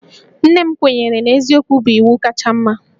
Nne m kwenyere na eziokwu bụ iwu kacha mma